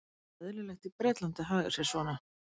Það er eðlilegt í Bretlandi að haga sér svona.